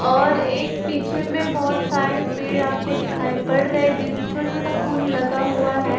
और एक पीछे में बहोत साड़े पेड़ आपको दिखाई पड़ रहे है जिसमे छोटा छोटा फूल लगा हुआ है।